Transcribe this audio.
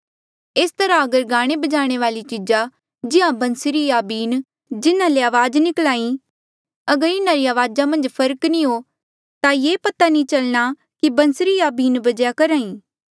एस तरहा अगर गाणेबजाणे वाली चीजा जिहां बंसरी या बीन जिन्हा ले अवाज निकल्हा ई अगर इन्हारी अवाजा मन्झ फर्क नी हो ता ये पता नी चलणा कि बंसरी या बीन बजेया करहा ई